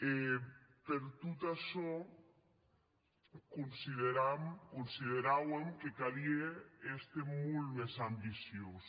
e per tot açò consideram consideràuem que calie èster molt mès ambiciós